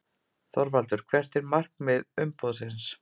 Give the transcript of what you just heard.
ÞORVALDUR: Hvert er markmið umboðsins?